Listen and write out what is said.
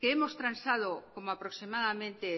que hemos transado como aproximadamente